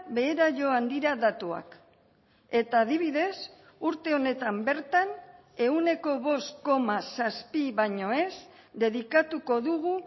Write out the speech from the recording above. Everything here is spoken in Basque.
behera joan dira datuak eta adibidez urte honetan bertan ehuneko bost koma zazpi baino ez dedikatuko dugu